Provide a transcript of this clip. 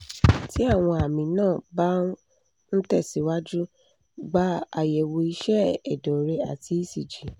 tí àwọn àmì náà bá ń ń tẹ̀síwájú gba àyẹ̀wò iṣẹ́ ẹ̀dọ̀ rẹ àti ecg